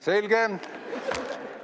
Selge.